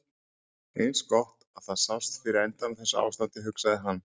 Eins gott að það sást fyrir endann á þessu ástandi, hugsaði hann.